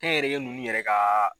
Kɛ n yɛrɛ ye nunnu ka